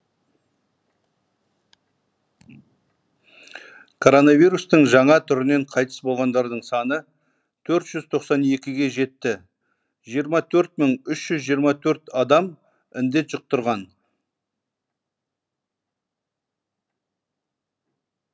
коронавирустың жаңа түрінен қайтыс болғандардың саны төрт жүз тоқсан екіге жетті жиырма төрт мың үш жүз жиырма төрт адам індет жұқтырған